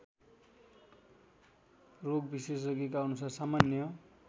रोगविशेषज्ञका अनुसार सामान्य